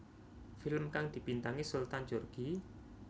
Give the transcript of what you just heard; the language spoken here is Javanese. Film kang dibintangi Sultan Djorghi